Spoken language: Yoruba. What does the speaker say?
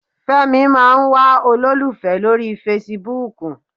Fẹ́mi máa ń wá olólùfẹ́ lórí fesibúùkù.